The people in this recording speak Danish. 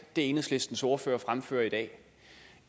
enhedslistens ordfører fremfører i dag